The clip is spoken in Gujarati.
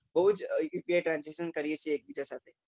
બઉ જ એકબીજા સાથે upi transaction કરી છીએ